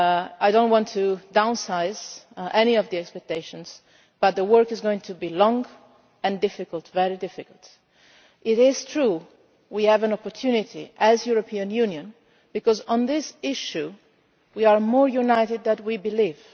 I do not want to downsize any of the expectations, but the work is going to be long and very difficult. It is true that we have an opportunity, as the European Union, because on this issue we are more united than we believe.